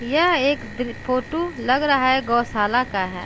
यह एक दृ फोटू लग रहा है गौशाला का है।